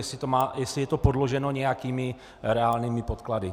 Jestli je to podloženo nějakými reálnými podklady.